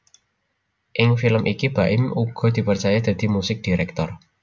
Ing film iki Baim uga dipercaya dadi musik director